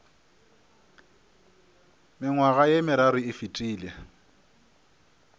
mengwaga ye meraro e fetile